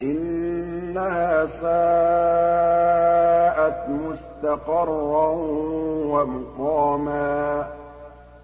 إِنَّهَا سَاءَتْ مُسْتَقَرًّا وَمُقَامًا